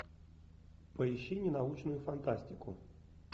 поищи ненаучную фантастику